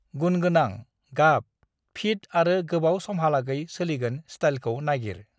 "गुणगोनां, गाब, फिट आरो गोबाव समहालागै सोलिगोन स्टाइलखौ नागिर।"